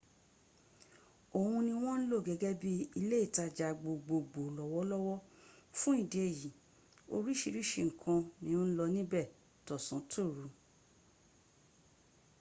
òhun ni wọ́n ń lò gẹ́gẹ́ bí ilé ìtajà gbogbogbo lọ́wọ́lọ́wọ́ fún ìdí èyí oríṣìíríṣìí nǹkan ni ó ń lọ níbẹ̀ tọ̀sán-tòru